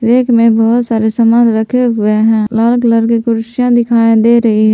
rack मे बहोत सारे समान रखे हुए हैं लाल कलर की कुर्सियां दिखाई दे रही--